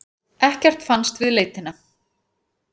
Ekkert fannst við leitina.